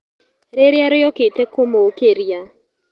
Rĩria rĩokĩte kũmũũkĩria.